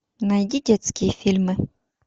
найди детские фильмы